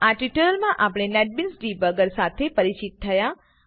આ ટ્યુટોરીયલમાં આપણે નેટબીન્સ ડીબગર સાથે પરિચિત થયા